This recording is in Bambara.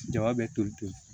Jaba bɛ toli ten